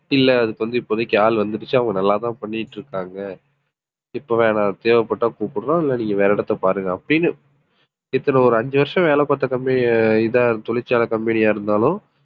இல்லை அதுக்கு வந்து இப்போதைக்கு ஆள் வந்துடுச்சு அவங்க நல்லாதான் பண்ணிட்டு இருக்காங்க இப்ப வேணாம் தேவைப்பட்டால் கூப்பிடறோம் இல்லை நீங்க வேற இடத்தைப் பாருங்க அப்படின்னு இத்தனை ஒரு அஞ்சு வருஷம் வேலை பார்த்த company அ இதான் தொழிற்சாலை company யா இருந்தாலும்